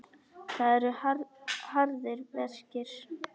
Það eru harðir verkir.